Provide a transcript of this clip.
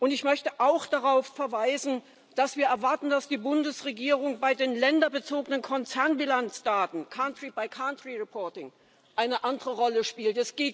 Ich möchte auch darauf verweisen, dass wir erwarten, dass die Bundesregierung bei den länderbezogenen Konzernbilanzdaten country by country reporting eine andere Rolle spielt.